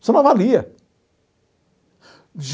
Você não avalia.